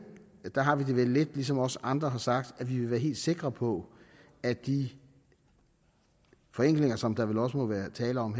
har vi det vel lidt ligesom også andre har sagt at vi vil være helt sikre på at de forenklinger som der vel også må være tale om